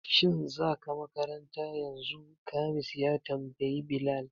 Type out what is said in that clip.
Shin za ka makaranta yanzu? Khamis ya tambayi Bilal